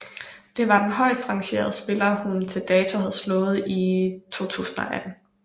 Det var den højstrangerede spiller hun til dato havde slået i 2018